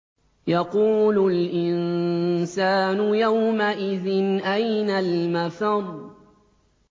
يَقُولُ الْإِنسَانُ يَوْمَئِذٍ أَيْنَ الْمَفَرُّ